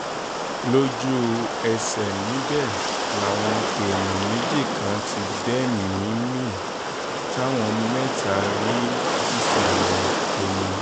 lójú-ẹsẹ̀ níbẹ̀ làwọn èèyàn méjì kan ti gbẹ̀mí-ín mi táwọn mẹ́ta rí sísàlẹ̀ omi